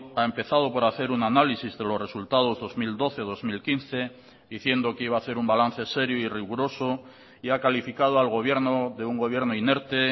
ha empezado por hacer un análisis de los resultados dos mil doce dos mil quince diciendo que iba a hacer un balance serio y riguroso y ha calificado al gobierno de un gobierno inerte